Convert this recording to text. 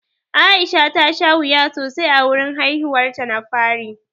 Aisha ta sha wuya sosai a wurin haihuwar ta na fari.